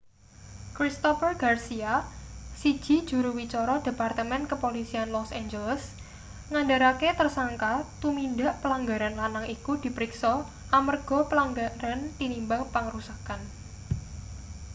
christopher garcia siji juru wicara departemen kepolisian los angeles ngandharake tersangka tumindak pelanggaran lanang iku dipriksa amarga pelanggaran tinimbang pangrusakan